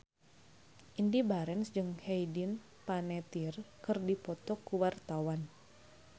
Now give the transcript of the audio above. Indy Barens jeung Hayden Panettiere keur dipoto ku wartawan